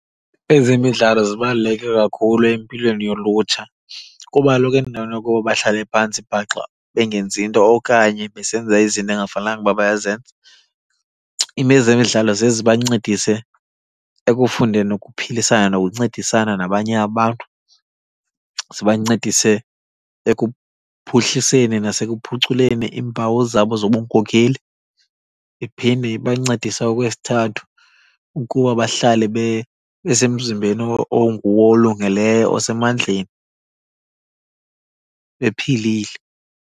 Ezemidlalo zibaluleke kakhulu empilweni yolutsha. Kuba kaloku endaweni yokuba bahlale phantsi bhaxa bengenzi nto okanye besenza izinto engafanelanga uba bayazenza, ezemidlalo ziye zibancedise ekufundeni ukuphilisana nokuncedisana nabanye abantu. Zibancedise ekuphuhliseni nasekuphuculeni iimpawu zabo zobunkokeli. Iphinde ibancedise okwesithathu ukuba bahlale besemzimbeni onguwo olungileyo, osemandleni, bephilile.